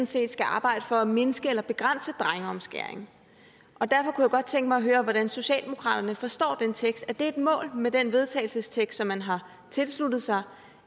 set skal arbejde for at mindske eller begrænse omfanget af drengeomskæring og derfor kunne jeg godt tænke mig at høre hvordan socialdemokratiet forstår den tekst er det et mål med den vedtagelsestekst som man har tilsluttet sig